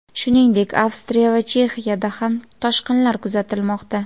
shuningdek Avstriya va Chexiyada ham toshqinlar kuzatilmoqda.